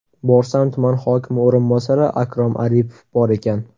Borsam, tuman hokimi o‘rinbosari Akrom Aripov bor ekan.